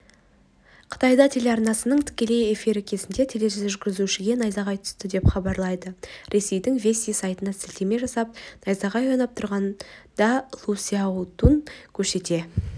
қытайда телеарнасының тікелей эфирі кезінде тележүргізушіге найзағай түсті деп хабарлайды ресейдің вести сайтына сілтеме жасап найзағай ойнап тұрғанда лу сяодун көшеде